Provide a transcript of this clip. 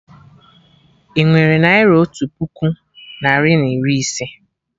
Inwere naira otu puku narị na iri ise?